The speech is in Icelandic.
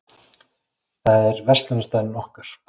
Það er verslunarstaðurinn okkar.